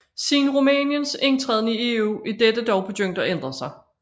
Siden Rumæniens indtræden i EU er dette dog begyndt at ændre sig